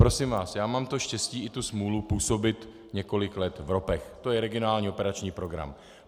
Prosím vás, já mám to štěstí i tu smůlu působit několik let v ropech, to je regionální operační program.